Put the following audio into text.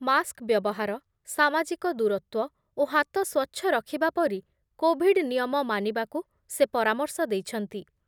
Mask ବ୍ୟବହାର, ସାମାଜିକ ଦୂରତ୍ବ ଓ ହାତ ସ୍ୱଚ୍ଛ ରଖିବା ପରି କୋଭିଡ୍ ନିୟମ ମାନିବାକୁ ସେ ପରାମର୍ଶ ଦେଇଛନ୍ତି ।